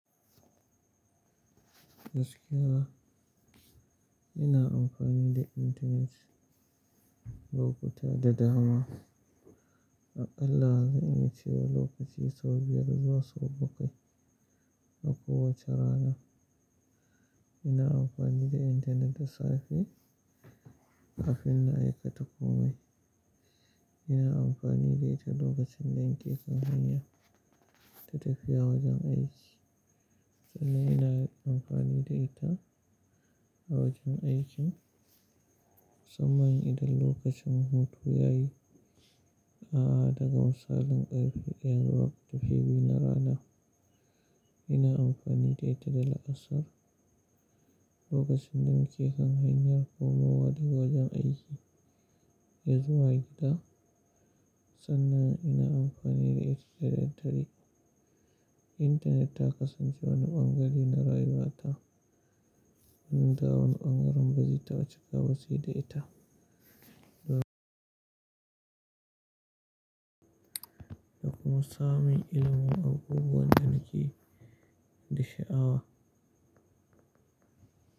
Gaskiya ina amfani da Internet lokuta da dama. A ƙalla'zan iya cewa lokaci sau biyar zuwa sau bakwai a kowace rana. Ina amfani da intanet da safe kafin na aika takomai. Ina amfani da ita lokacin danake hanyar tafiya wajen aiki. Kuma ina amfani da ita a wajen aiki, musamman idan lokacin hutu yayi na daga misalin ƙarfe ɗaya zuwa ƙarfe biyu na rana. Ina amfani da ita da la'asar lokacin danake hanyar komawa daga wajen aiki yazu wa gida. Sannan ina amfani da ita da daddare. Intanet ta kasance wani ɓangare na rayuwata. Inda wani ɓangaren bazita wuce gabashi da ita. Da kuma samun ilimin abubuwan danake da sha'ara.